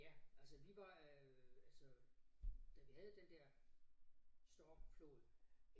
Ja altså vi var øh altså da vi havde den der stormflod